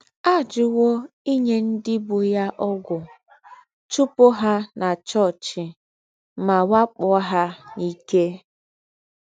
Àjúwò ínyé ndí́ bú yá ógwù, chùpù hà nà chòọ́chì, mà wàkpọ́ hà n’íké.